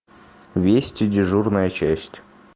вести дежурная часть